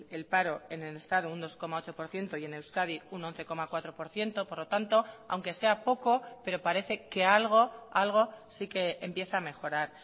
el paro en el estado un dos coma ocho por ciento y en euskadi un once coma cuatro por ciento por lo tanto aunque sea poco pero parece que algo algo sí que empieza a mejorar